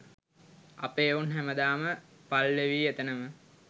අපේ එවුන් හැම දාම පල්වෙවී එතනම